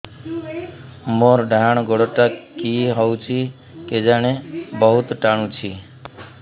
ମୋର୍ ଡାହାଣ୍ ଗୋଡ଼ଟା କି ହଉଚି କେଜାଣେ ବହୁତ୍ ଟାଣୁଛି